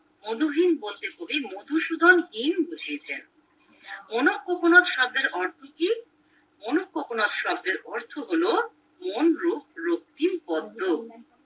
মধুহীন বলতে কবি মধুসূধন হীন বুঝিয়েছেন কোকনদ শব্দের অর্থ কি কোকনদ শব্দের অর্থ হলো মনরূপ রক্তিম পদ্ম